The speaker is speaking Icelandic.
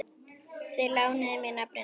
Þeir lánuðu mér nöfnin sín.